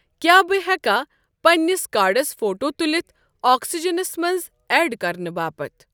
کیٛاہ بہٕٕ ہٮ۪کا پننِس کارڑس فوٹو تُلِتھ آکسِجنَس منٛز ایڈ کرنہٕ باپتھ؟